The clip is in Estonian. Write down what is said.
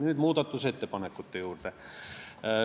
Nüüd muudatusettepanekute juurde.